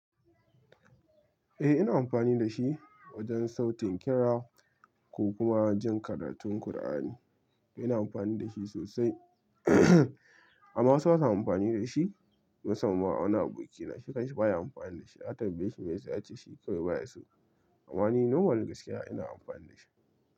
Eh ina amfani da shi wajen sautin kira ko kuma jin karatun Kur'ani. Ina amfani da shi sosai amma wasu ba sa amfani da shi. Musamman ma wani abokina, shi kanshi baya amfani da shi. Na tambaye shi me yasa yace shi kawai baya so. Amma ni normal gaskiya ina amfani da shi.